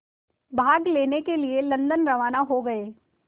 भाग लेने के लिए लंदन रवाना हो गए